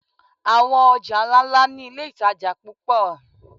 Àwọn ọjà ńláńlá ni iléìtajà púpọ̀.